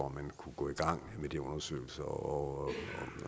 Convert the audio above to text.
at man kunne gå i gang med de undersøgelser osv